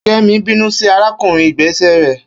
Kemi binu si arakunrin igbese rẹ